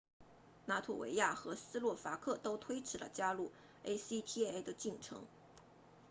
拉脱维亚和斯洛伐克都推迟了加入 acta 的进程